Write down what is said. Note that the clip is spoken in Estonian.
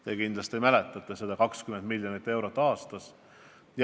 Te kindlasti mäletate seda: 20 miljonit eurot aastas.